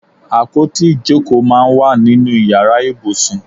Àpótí ìjókòó máa ń wà nínú ìyára ibùsùn.